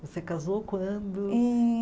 Você casou quando? Em